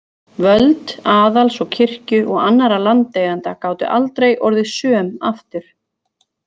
Völd aðals og kirkju og annarra landeigenda gátu aldrei orðið söm aftur.